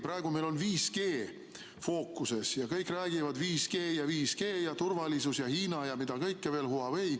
Praegu meil on 5G fookuses ja kõik räägivad: 5G, turvalisus ja Hiina ja Huawei ja mida kõike veel.